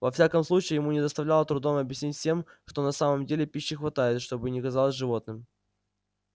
во всяком случае ему не доставляло трудом объяснить всем что на самом деле пищи хватает что бы ни казалось животным